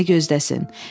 Nəyi gözləsin?